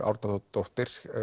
Árnadóttir